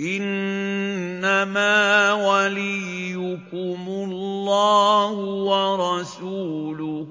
إِنَّمَا وَلِيُّكُمُ اللَّهُ وَرَسُولُهُ